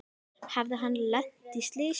Hafði hann lent í slysi?